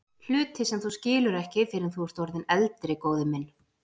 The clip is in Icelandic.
Hluti sem þú skilur ekki fyrr en þú ert orðinn eldri, góði minn.